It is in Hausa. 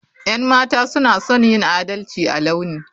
Yan mata suna son yin adalci a launi.